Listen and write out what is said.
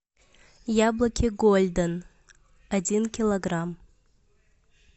яблоки гольден один килограмм